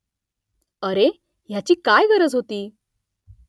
अरे ह्याची काय गरज होती